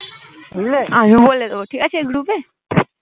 আমিও বলে দেবো ঠিকাছে group এ